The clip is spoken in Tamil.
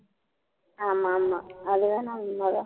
ஆமா ஆமா அதுவேணா உண்மைதான்